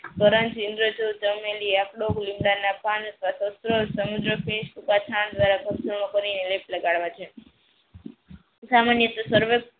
લીમડાના પાન અથવા તો સમુદ્ર લેપ લગાવવા છે સામાન્ય સર્વ